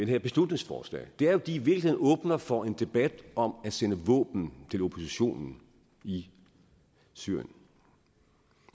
her beslutningsforslag er at de i virkeligheden åbner for en debat om at sende våben til oppositionen i syrien